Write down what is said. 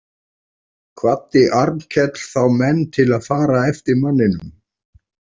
Kvaddi Arnkell þá menn til að fara eftir manninum.